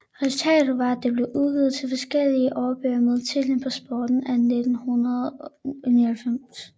Resultatet var at der blev udgivet to forskellige årbøger med titlen På sporet af 1989